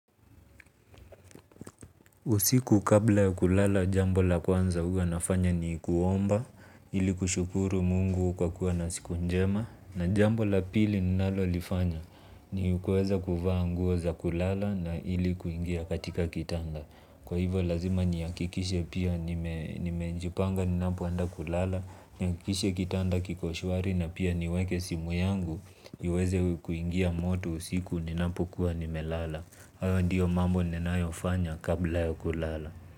Usiku kabla ya kulala, jambola kwanza huwa nafanya ni kuomba, ili kushukuru mungu kwa kuwa na siku njema. Na jambo la pili ninalolifanya, ni kuweza kuvaa nguo za kulala na ili kuingia katika kitanda. Kwa hivo lazima nihakikishe pia nimejipanga ninapoenda kulala, nihakikishe kitanda kiko shwari na pia niweke simu yangu, iweze kuingia moto usiku ninapokuwa nimelala. Haya ndiyo mambo ninayo fanya kabla yakulala.